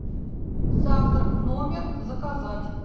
завтрак в номер заказать